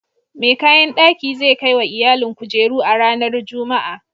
Mai kayan daki zai kai wa iyalin kujeru a ranar Juma'a.